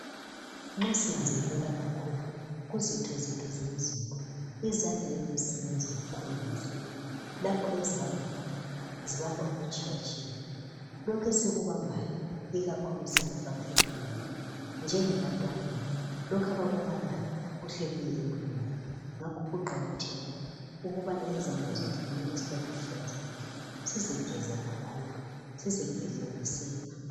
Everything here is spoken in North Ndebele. Nxa sinanzelela kakhulu kuzitho zethu zomzimba izandla yizo ezisebenza kakhulu lapho ezibamba khona zibamba okutshiyetshiyeneyo. Lokhu esikubambayo ikakhulu esikufaka emlonyeni njengebantwaneni lokhu abakubambayo kuhle kuye emlonyeni. Ngakho kuqakathekile ukubana izandla zethu zihlale sihlanzekile sizigeze kakhulu sizigeze ngesepa.